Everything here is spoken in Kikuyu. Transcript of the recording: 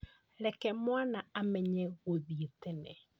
Reke mwana amenye gũthiĩ tene